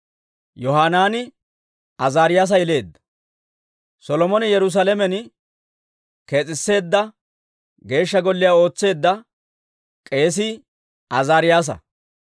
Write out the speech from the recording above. Yohanaani Azaariyaasa yeleedda. Solomone Yerusaalamen kees'isseedda Geeshsha Golliyaa ootseedda k'eesii Azaariyaasa.